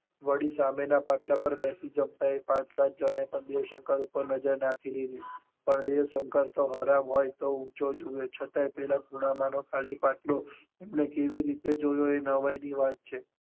વળી સામે ના પાટલા પર બેસી જમતા એ પાંચ સાત જણે પણ દેવ શંકર પર નજર નાખી દીધી પણ દેવ શંકર તો હરામ હોય ઊંચો જોવે ખૂણામાં નો ખાલી પાટલો એમણે કેવી રીતે જોયો એ નવાઈ ની વાત છે.